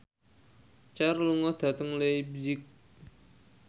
Cher lunga dhateng leipzig